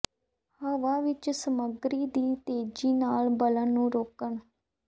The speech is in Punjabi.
ਹਵਾ ਵਿੱਚ ਸਮੱਗਰੀ ਦੀ ਤੇਜ਼ੀ ਨਾਲ ਬਲਨ ਨੂੰ ਰੋਕਣ